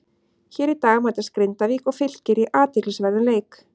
Hér í dag mætast Grindavík og Fylkir í athyglisverðum leik.